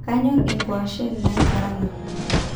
kanyorr inkuashen naikaraanka